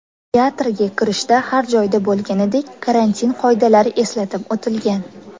Teatrga kirishda har joyda bo‘lganidek karantin qoidalari eslatib o‘tilgan.